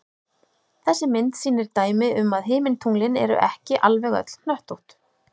Þessi mynd sýnir dæmi um að himintunglin eru ekki alveg öll hnöttótt.